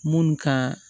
Munnu ka